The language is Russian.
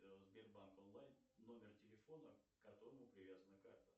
сбербанк онлайн номер телефона к которому привязана карта